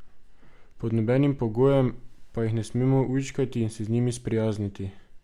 Pod nobenim pogojem pa jih ne smemo ujčkati in se z njimi sprijazniti.